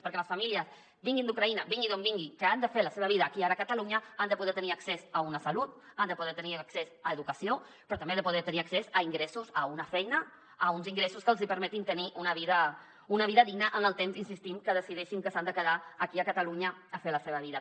perquè les famílies vinguin d’ucraïna vinguin d’on vinguin que han de fer la seva vida aquí i ara a catalunya han de poder tenir accés a una salut han de poder tenir accés a educació però també han de poder tenir accés a ingressos a una feina a uns ingressos que els hi permetin tenir una vida digna en el temps hi insistim que decideixin que s’han de quedar aquí a catalunya a fer la seva vida